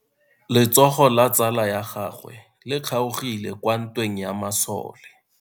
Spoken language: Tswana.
Letsogo la tsala ya gagwe le kgaogile kwa ntweng ya masole.